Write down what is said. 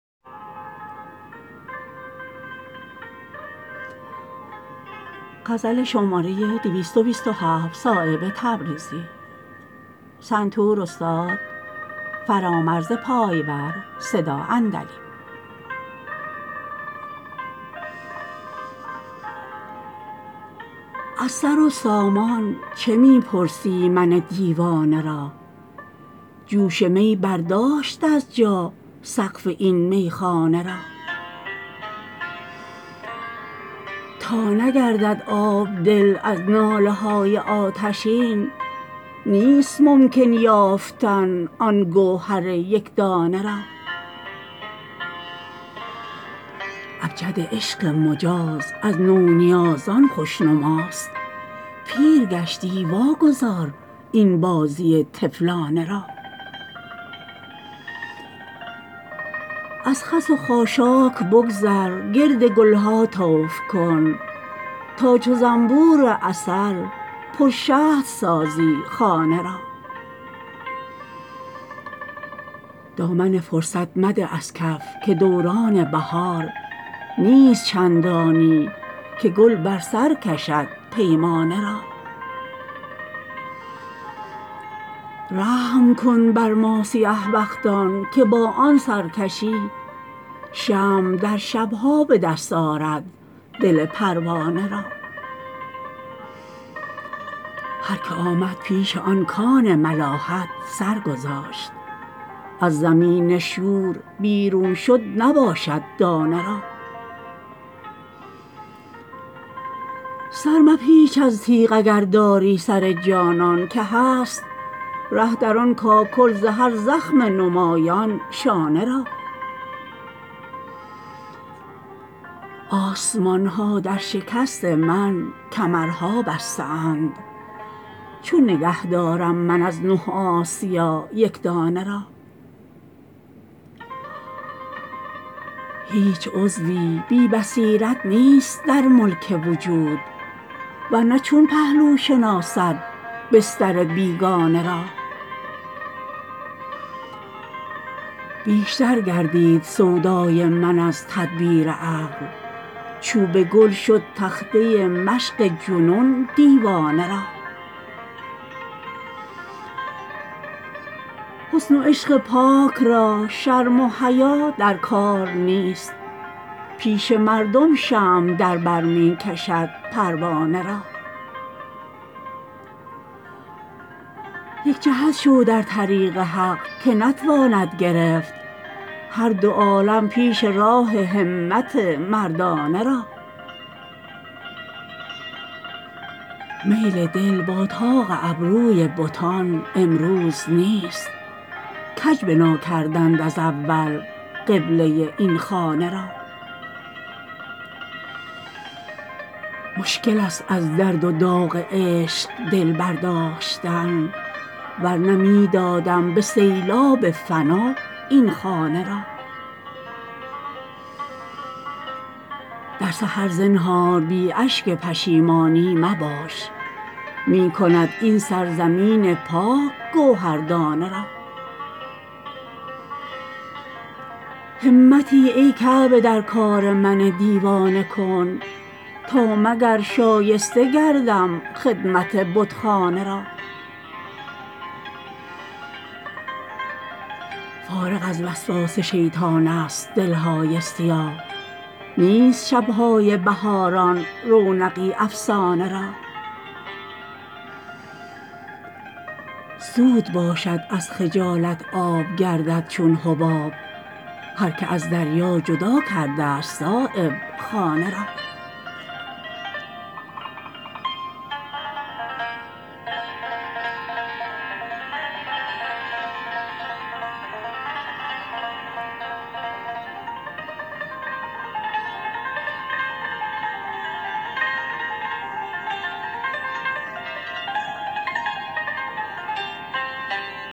از سر و سامان چه می پرسی من دیوانه را جوش می برداشت از جا سقف این میخانه را تا نگردد آب دل از ناله های آتشین نیست ممکن یافتن آن گوهر یکدانه را ابجد عشق مجاز از نونیازان خوشنماست پیر گشتی واگذار این بازی طفلانه را از خس و خاشاک بگذر گرد گلها طوف کن تا چو زنبور عسل پر شهد سازی خانه را دامن فرصت مده از کف که دوران بهار نیست چندانی که گل بر سر کشد پیمانه را رحم کن بر ما سیه بختان که با آن سرکشی شمع در شبها به دست آرد دل پروانه را هر که آمد پیش آن کان ملاحت سرگذاشت از زمین شور بیرون شد نباشد دانه را سرمپیچ از تیغ اگر داری سر جانان که هست ره در آن کاکل ز هر زخم نمایان شانه را آسمان ها در شکست من کمرها بسته اند چون نگه دارم من از نه آسیا یک دانه را هیچ عضوی بی بصیرت نیست در ملک وجود ورنه چون پهلو شناسد بستر بیگانه را بیشتر گردید سودای من از تدبیر عقل چوب گل شد تخته مشق جنون دیوانه را حسن و عشق پاک را شرم و حیا در کار نیست پیش مردم شمع در بر می کشد پروانه را یک جهت شو در طریق حق که نتواند گرفت هر دو عالم پیش راه همت مردانه را میل دل با طاق ابروی بتان امروز نیست کج بنا کردند از اول قبله این خانه را مشکل است از درد و داغ عشق دل برداشتن ورنه می دادم به سیلاب فنا این خانه را در سحر زنهار بی اشک پشیمانی مباش می کند این سرزمین پاک گوهر دانه را همتی ای کعبه در کار من دیوانه کن تا مگر شایسته گردم خدمت بتخانه را فارغ از وسواس شیطان است دلهای سیاه نیست شبهای بهاران رونقی افسانه را زود باشد از خجالت آب گردد چون حباب هر که از دریا جدا کرده است صایب خانه را